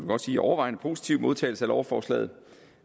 godt sige overvejende positiv modtagelse af lovforslaget